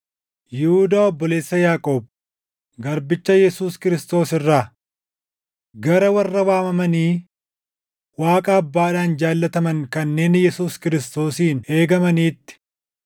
Yihuudaa obboleessa Yaaqoob garbicha Yesuus Kiristoos irraa, Gara warra waamamanii Waaqa Abbaadhaan jaallataman kanneen Yesuus Kiristoosiin eegamaniitti: